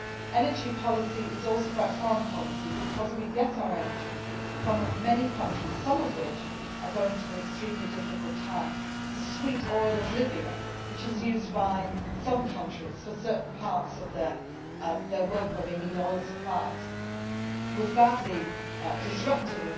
Energy policy is also about foreign policy, because we get our energy from many countries, some of which are going through extremely difficult times. The supply of sweet oil from Libya, which is used by some countries for certain parts of their work for which they need oil supplies, was badly disrupted.